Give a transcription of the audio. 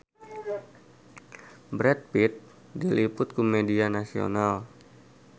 Brad Pitt diliput ku media nasional